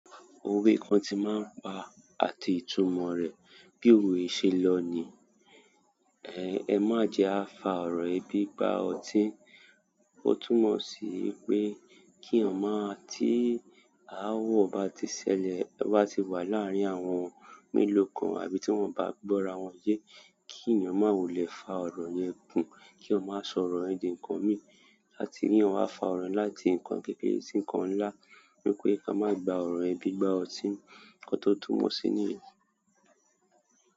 Òwe kan ti máa ń pa àti ìtumọ̀ rẹ̀. Bí òwe ṣe lọ ni "Ẹ má jẹ á fa ọ̀rọ̀yi bi gbá ọtí", ó túmọ̀ sí pé kí eyan mọ tí aáwọ̀ bá ti ṣẹlẹ̀, ba tí wà láàárín àwọn mélòó kan àbí tí wọ́n bá gbọ́ra wọn yé, kí ènìyàn má wulé fa ọ̀rọ̀ yẹn gùn, kí ó má sọ ọ̀rọ̀ yẹn di ǹkan mi áti kí eyan wá fa ọ̀rọ̀ láti ǹkan kékeré sí ǹkan ńlá, torí pé ka máa gba ọ̀rọ̀ yen bi igbá ọtí, nkọ́ tó túmọ̀ sí ní.